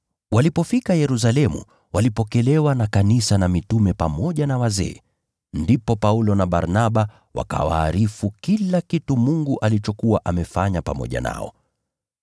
Walipofika Yerusalemu, walipokelewa na kanisa na mitume pamoja na wazee, ndipo Paulo na Barnaba wakawaarifu kila kitu Mungu alichokuwa amefanya kupitia kwao.